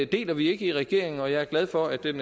deler vi ikke i regeringen og jeg er glad for at den